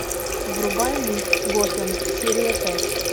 врубай мульт готэм серия пять